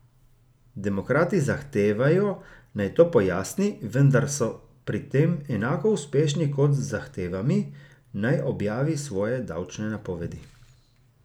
Demokrati zahtevajo, naj to pojasni, vendar so pri tem enako uspešni kot z zahtevami, naj objavi svoje davčne napovedi.